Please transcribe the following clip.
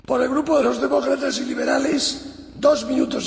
Õigus elada ja töötada kõikjal Euroopa Liidus